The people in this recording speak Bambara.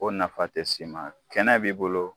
O nafa tɛ s'i ma kɛnɛ b'i bolo.